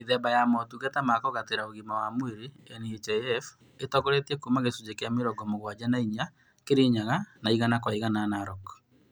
Mĩthemba ya motungata ma kũgatĩra ũgima wa mwĩri, NHIF ĩtongoretie kuuma gĩcunjĩ kĩa mĩrongo mũgwanja na inya Kirinyaga na igana kwa igana Narok